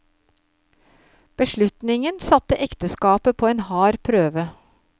Beslutningen satte ekteskapet på en hard prøve.